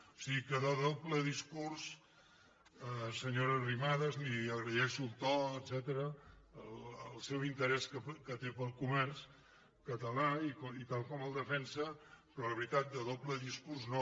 o sigui que de doble discurs se·nyora arrimadas li agraeixo el to etcètera el seu in·terès que té per al comerç català i tal com el defensa però la veritat de doble discurs no